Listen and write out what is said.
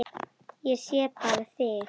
Ég sé bara þig!